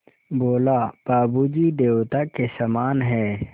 बोला बाबू जी देवता के समान हैं